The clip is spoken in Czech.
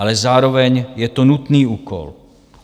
Ale zároveň je to nutný úkol.